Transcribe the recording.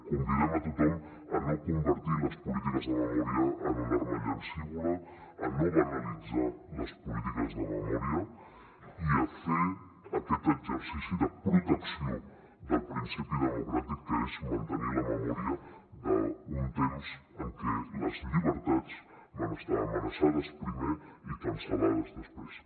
convidem a tothom a no convertir les polítiques de memòria en un arma llancívola a no banalitzar les polítiques de memòria i a fer aquest exercici de protecció del principi democràtic que és mantenir la memòria d’un temps en què les llibertats van estar amenaçades primer i cancel·lades després